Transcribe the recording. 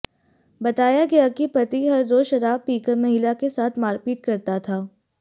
बताया गया कि पति हर रोज शराब पीकर महिला के साथ मारपीट करता था